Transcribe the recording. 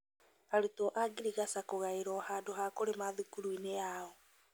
Arũtwo a ngirigaca kũgaĩrwo handũ ha kũrĩma thukuruini yao